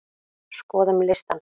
Skoðum listann!